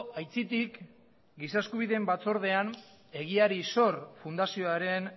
aitzitik giza eskubideen batzordean egiari zor fundazioaren